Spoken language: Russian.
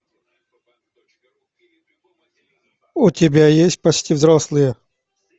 у тебя есть почти взрослые